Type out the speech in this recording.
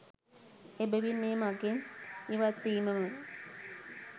එබැවින් ඒ මඟෙන් ඉවත්වීමම